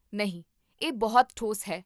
ਨਹੀਂ, ਇਹ ਬਹੁਤ ਠੋਸ ਹੈ